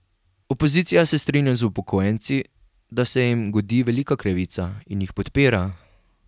Opozicija se strinja z upokojenci, da se jim godi velika krivica, in jih podpira.